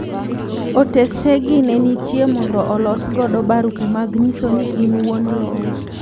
Otesegi nenitie mondo olos godo barupe mag nyiso ni in wuon lowo.